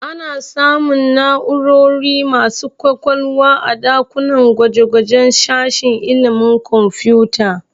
Ana samun na'urori masu ƙwaƙwalwa a ɗakunan gwaje-gwajen sashen ilimin kwamfuta